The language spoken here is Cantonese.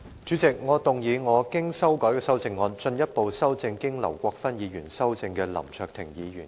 主席，我動議我經修改的修正案，進一步修正經劉國勳議員修正的林卓廷議員議案。